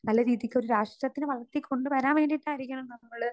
speaker 2 നല്ല രീതിക്ക് ഒരു രാഷ്ട്രത്തിനെ വളർത്തി കൊണ്ടുവരാൻ വേണ്ടിയിട്ടായിരിക്കണം നമ്മള്